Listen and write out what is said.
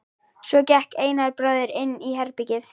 Svo gekk Einar bróðir inn í herbergið.